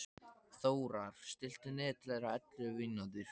Þórar, stilltu niðurteljara á ellefu mínútur.